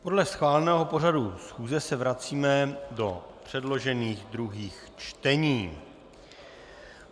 Podle schváleného pořadu schůze se vracíme do předložených druhých čtení.